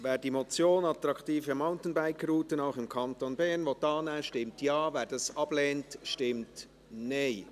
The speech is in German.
Wer die Motion «Attraktive Mountainbike-Routen auch im Kanton Bern» annehmen will, stimmt Ja, wer dies ablehnt, stimmt Nein.